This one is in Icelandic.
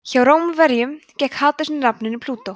hjá rómverjum gekk hades undir nafninu plútó